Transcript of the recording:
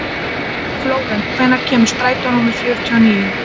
Flórent, hvenær kemur strætó númer fjörutíu og níu?